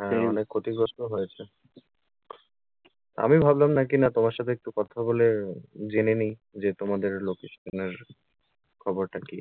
হ্যাঁ অনেক ক্ষতিগ্রস্থও হয়েছে আমি ভাবলাম নাকি না তোমার সাথে একটু কথা বলে, জেনে নিই যে তোমাদের location এর খবরটা কী।